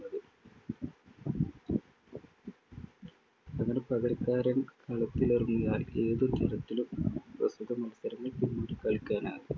അങ്ങനെ പകരക്കാരൻ കളത്തിലിറങ്ങിയാൽ ഏതു തരത്തിലും മത്സരത്തിൽ പിന്നീടു കളിക്കാനാകില്ല.